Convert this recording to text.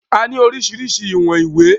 A ní oríṣiríṣi ìwọ̀n ìwé